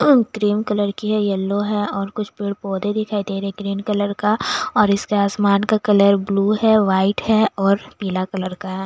Cream colour की है yellow है और कुछ पेड़ पौधे दिखाई दे रहे हैं ग्रीन कलर का और इसका आसमान का कलर ब्लू है वाइट है और पीला कलर का है।